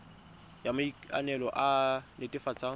ya maikano e e netefatsang